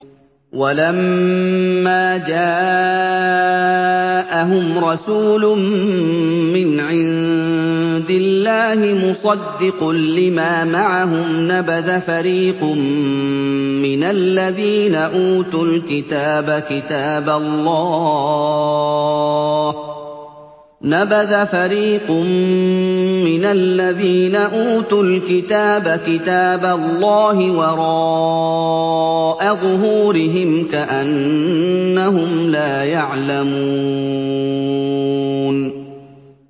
وَلَمَّا جَاءَهُمْ رَسُولٌ مِّنْ عِندِ اللَّهِ مُصَدِّقٌ لِّمَا مَعَهُمْ نَبَذَ فَرِيقٌ مِّنَ الَّذِينَ أُوتُوا الْكِتَابَ كِتَابَ اللَّهِ وَرَاءَ ظُهُورِهِمْ كَأَنَّهُمْ لَا يَعْلَمُونَ